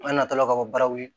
An natɔla ka bɔ baraw ye